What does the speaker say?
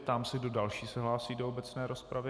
Ptám se, kdo další se hlásí do obecné rozpravy.